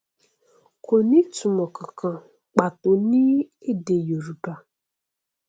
kò ní ìtumọ kankan pàtó ní èdè yorùbá